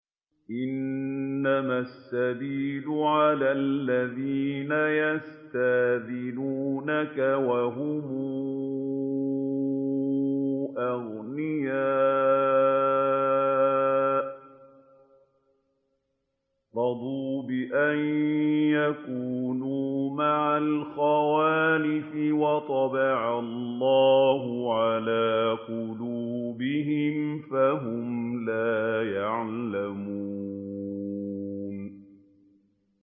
۞ إِنَّمَا السَّبِيلُ عَلَى الَّذِينَ يَسْتَأْذِنُونَكَ وَهُمْ أَغْنِيَاءُ ۚ رَضُوا بِأَن يَكُونُوا مَعَ الْخَوَالِفِ وَطَبَعَ اللَّهُ عَلَىٰ قُلُوبِهِمْ فَهُمْ لَا يَعْلَمُونَ